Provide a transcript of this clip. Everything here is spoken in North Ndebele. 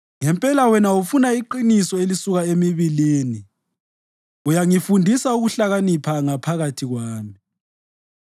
Ngempela wena ufuna iqiniso elisuka emibilini; uyangifundisa ukuhlakanipha ngaphakathi kwami.